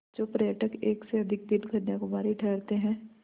जो पर्यटक एक से अधिक दिन कन्याकुमारी ठहरते हैं